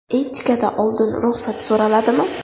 Etikada oldin ruxsat so‘raladimi?